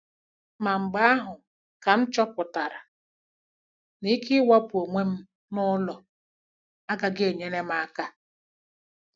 Ma mgbe ahụ kam chọpụtara na ikewapụ onwe m n'ụlọ agaghị enyere m aka.